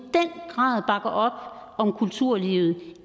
grad bakker om kulturlivet